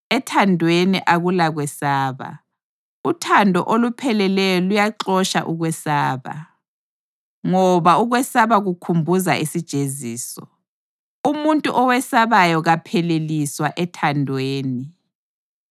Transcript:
Ethandweni akulakwesaba. Uthando olupheleleyo luyaxotsha ukwesaba, ngoba ukwesaba kukhumbuza isijeziso. Umuntu owesabayo kapheleliswa ethandweni.